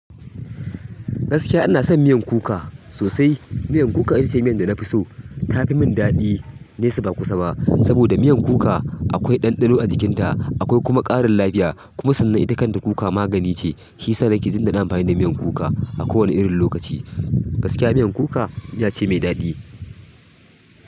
Gaskiya ina son miyan kuka sosai. Miyan kuka ita ce miyan da na fi so. Ta fi mun daɗi, nesa ba kusa ba. Saboda miyan kuka akwai ɗanɗano a jikinta, akwai kuma ƙarin lafiya. Kuma sannan ita kan ta kuka magani ce. Shiyasa nake jin daɗin amfani da miyan kuka a kowane irin lokaci. Gaskiya miyan kuka miya ce mai daɗi.